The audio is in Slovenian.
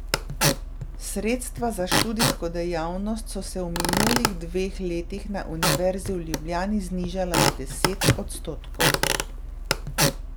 Sredstva za študijsko dejavnost so se v minulih dveh letih na Univerzi v Ljubljani znižala za deset odstotkov.